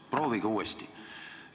Proovige uuesti.